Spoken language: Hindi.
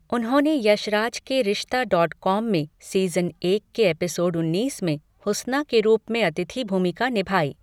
उन्होंने यश राज के रिश्ता डॉट कॉम में सीज़न एक के एपिसोड उन्नीस में हुस्ना के रूप में अतिथि भूमिका निभाई।